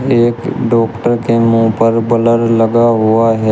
एक डॉक्टर के मुंह पर ब्लर लगा हुआ है।